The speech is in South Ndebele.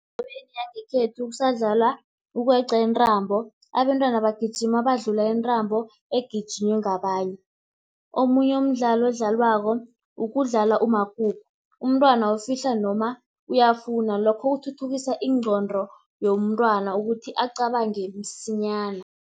Endaweni yangekhethu kusadlalwa ukweqa intambo, abentwana bagijima badlula intambo egijinywa ngabanye. Omunye umdlalo odlalwako ukudlala umakhukhu, umntwana ufihla noma uyafuna, lokho kuthuthukisa ingqondo yomntwana ukuthi acabange msinyana.